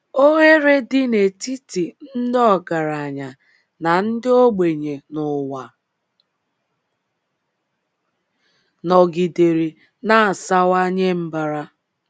Oghere dị n’etiti ndị ọgaranya na ndị ogbenye n’ụwa nọgidere na - asawanye mbara.